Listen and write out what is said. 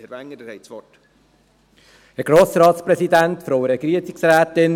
Herr Wenger, Sie haben das Wort.